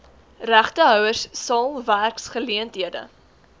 regtehouers sal werksgeleenthede